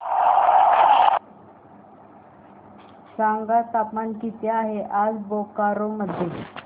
सांगा तापमान किती आहे आज बोकारो मध्ये